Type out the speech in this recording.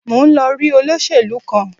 Mo ń lọ rí olóṣèlú kan